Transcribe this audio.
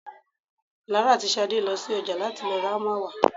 Lara àti Ṣadé lọ sí ọjà láti lọ ra hámà wá.